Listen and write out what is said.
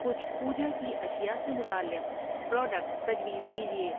کچھ پوجا کی اشیاء سے متعلق پراڈکٹس تجویز کیجئے